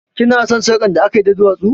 Ki na son sarƙar da akayi da duwatsu?